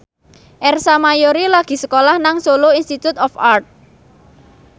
Ersa Mayori lagi sekolah nang Solo Institute of Art